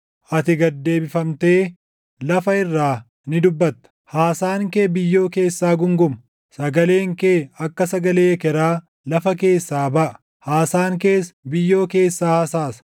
Ati gad deebifamtee lafa irraa ni dubbatta; haasaan kee biyyoo keessaa guunguma. Sagaleen kee akka sagalee ekeraa lafa keessaa baʼa; haasaan kees biyyoo keessaa hasaasa.